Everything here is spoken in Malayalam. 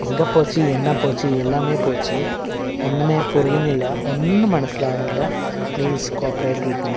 എങ്ക പോച്ച് എന്ന പോച്ച് എല്ലാമെ പോച്ച് ഒന്നുമേ പൊറിയുന്നില്ല ഒന്നും മനസ്സിലാകുന്നില്ല പ്ലീസ് കോപറേറ്റ് വിത്ത് മി .